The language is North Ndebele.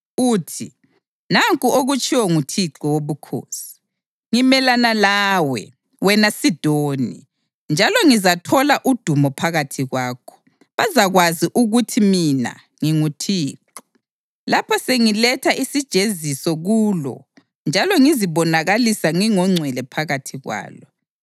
uthi: ‘Nanku okutshiwo nguThixo Wobukhosi: Ngimelana lawe, wena Sidoni, njalo ngizathola udumo phakathi kwakho. Bazakwazi ukuthi mina nginguThixo lapho sengiletha isijeziso kulo njalo ngizibonakalisa ngingongcwele phakathi kwalo.